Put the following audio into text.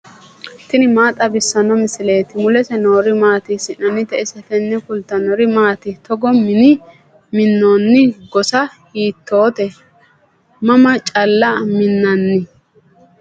tini maa xawissanno misileeti ? mulese noori maati ? hiissinannite ise ? tini kultannori maati? togo mine mi'nanno gossa hiittoti? mama calla minnanni?